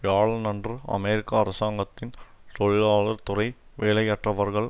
வியாழனன்று அமெரிக்க அரசாங்கத்தின் தொழிலாளர் துறை வேலையற்றவர்கள்